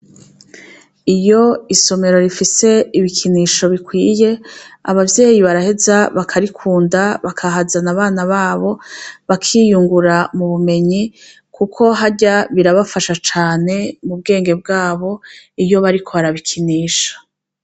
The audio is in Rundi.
Iyo isomero rifise ibikinisho bikwiye abavyeyi baraheza bakarikunda bakahazana abana babo bakiyungura mubumenyi kuko harya birabafadha cane mubwenge bwabwo iyo bariko barabikinisha.